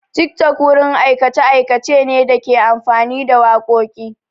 TikTok wurin aikace-aikace ne da ke amfani da wakoki.